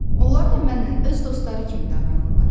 Onlar da mənlə öz dostları kimi davranırlar.